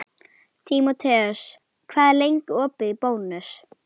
Tímoteus, hvað er lengi opið í Bónus?